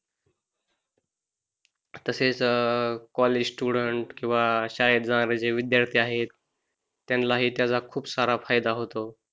तसेच college student किंवा शाळेत जाणारे जे विद्यार्थी आहेत त्यांना हि त्याचा खूप सारा फायदा होतो.